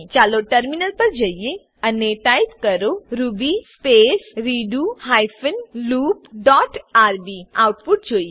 ચાલો ટર્મિનલ પર જઈએ અને ટાઈપ કરીએ Ruby space redo hyphen loop dot R B Ruby space redo hyphen loop dot R B output જોઈએ